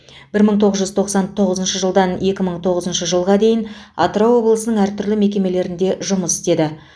бір мың тоғыз жүз тоқсан тоғызыншы жылдан екі мың тоғызыншы жылға дейін атырау облысының әртүрлі мекемелерінде жұмыс істеді